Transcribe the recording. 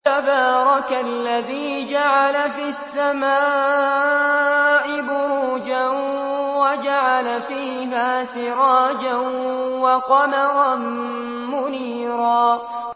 تَبَارَكَ الَّذِي جَعَلَ فِي السَّمَاءِ بُرُوجًا وَجَعَلَ فِيهَا سِرَاجًا وَقَمَرًا مُّنِيرًا